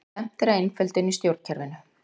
Stefnt er að einföldun í stjórnkerfinu